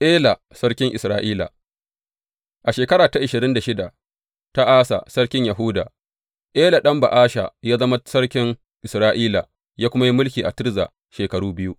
Ela sarkin Isra’ila A shekara ta ashirin da shida ta Asa sarkin Yahuda, Ela ɗan Ba’asha ya zama sarkin Isra’ila, ya kuma yi mulki a Tirza shekaru biyu.